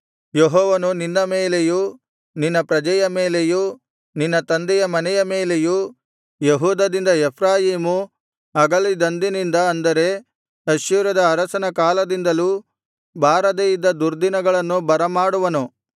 ಯೆಹೋವನು ನಿನ್ನ ಮೇಲೆಯೂ ನಿನ್ನ ಪ್ರಜೆಯ ಮೇಲೆಯೂ ನಿನ್ನ ತಂದೆಯ ಮನೆಯ ಮೇಲೆಯೂ ಯೆಹೂದದಿಂದ ಎಫ್ರಾಯೀಮು ಅಗಲಿದಂದಿನಿಂದ ಅಂದರೆ ಅಶ್ಶೂರದ ಅರಸನ ಕಾಲದಿಂದಲೂ ಬಾರದೆ ಇದ್ದ ದುರ್ದಿನಗಳನ್ನು ಬರಮಾಡುವನು